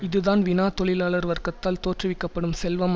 இதுதான் வினா தொழிலாளர் வர்க்கத்தால் தோற்றுவிக்க படும் செல்வம்